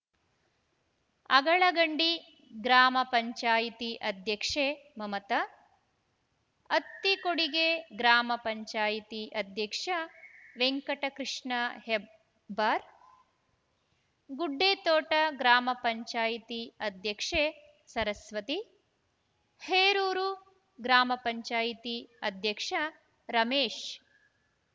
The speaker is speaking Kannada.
ಅಗಳಗಂಡಿ ಗ್ರಾಮ ಪಂಚಾಯಿತಿ ಅಧ್ಯಕ್ಷೆ ಮಮತ ಅತ್ತಿಕೊಡಿಗೆ ಗ್ರಾಮ ಪಂಚಾಯಿತಿ ಅಧ್ಯಕ್ಷ ವೆಂಕಟಕೃಷ್ಣ ಹೆಬ್ಬಾರ್‌ ಗುಡ್ಡೆತೋಟ ಗ್ರಾಮ ಪಂಚಾಯಿತಿ ಅಧ್ಯಕ್ಷೆ ಸರಸ್ವತಿ ಹೇರೂರು ಗ್ರಾಮ ಪಂಚಾಯಿತಿ ಅಧ್ಯಕ್ಷ ರಮೇಶ್‌